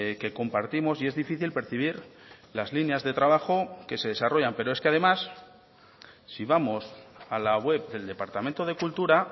que compartimos y es difícil percibir las líneas de trabajo que se desarrollan pero es que además si vamos a la web del departamento de cultura